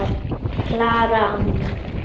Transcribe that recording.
Klara amma.